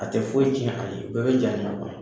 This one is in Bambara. A tɛ foyi tiɲɛ a ye bɛɛ bɛ ja kɔnɔ